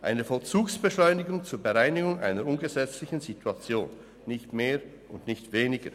Eine Vollzugsbeschleunigung zur Bereinigung einer ungesetzlichen Situation – nicht mehr und nicht weniger.